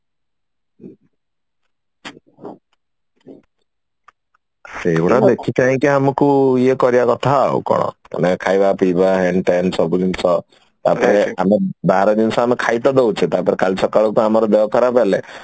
ସେଇଗୁଡା ଦେଖି ଚାହିଁ କି ଟିକେ ଆମକୁ ଇଏ କରିବା କଥା ଆଉ କଣ ମାନେ ଖାଇବା ପିଇବା ହେନ ଟେନ ସବୁ ଜିନିଷ ତାପରେ ଆମେ ବାହାର ଜିନିଷ ଆମେ ଖାଇ ତ ଦଉଛେ ତାପରେ କାଲି ସକାଳକୁ ଆମର ଦେହ ଖରାପ ହେଲେ